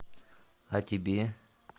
а тебе